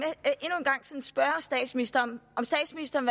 så spørge statsministeren om statsministeren